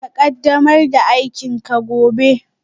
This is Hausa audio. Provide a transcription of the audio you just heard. Ka ƙaddamar da aikinka gobe